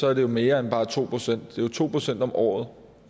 er det jo mere end bare to procent det er to procent om året